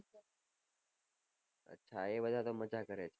હા એ બઘા તો મજા કરે